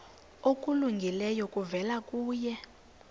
okulungileyo kuvela kuye